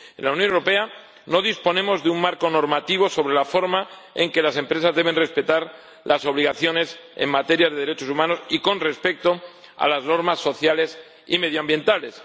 En la Unión Europea no disponemos de un marco normativo sobre la forma en que las empresas deben respetar las obligaciones en materia de derechos humanos y con respecto a las normas sociales y medioambientales.